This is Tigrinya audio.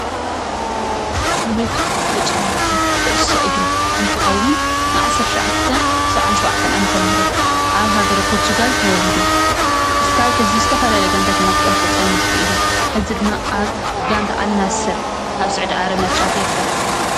ሮናልዶ ፍሉጥ ተፃዋቲ ኩዕሶ እግሪ እንትከውን ብ ዓሰርተ ትሸዓተ ሰብዓን ሸውዓተን ዓ/ም ኣብ ሀገረ ፖርቱጋል ተወሊዱ እስካብ ሕዚ ዝተፈላለዩ ጋንታታት እናተፃወተ ፀኒሑ እዩ ሕዚ ድማ ኣብ ጋንታ ኣልናሰ ኣብ ሱዑድ ዓረብ እናተፃወተ ይርከብ።